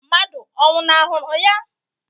Mmadụ ọ nwụnahụrụ ya?